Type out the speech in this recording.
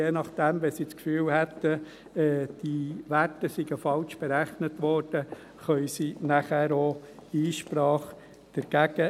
Je nachdem, wenn sie das Gefühl haben, diese Werte seien falsch berechnet worden, können sie dann auch dagegen Einsprache erheben.